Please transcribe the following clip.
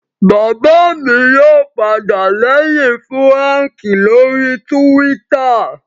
Bàbá mi yóò padà lẹ́yìn Fúràǹkì lórii túwítà